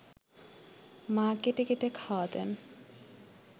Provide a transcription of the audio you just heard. মা কেটে কেটে খাওয়াতেন